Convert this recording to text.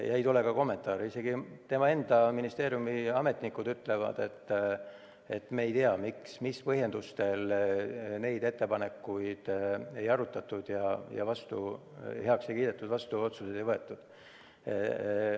Ei tule ka kommentaare, isegi tema enda ministeeriumi ametnikud ütlevad, et me ei tea, mis põhjendustel neid ettepanekuid ei arutatud ja heaks ei kiidetud ning otsuseid vastu ei võetud.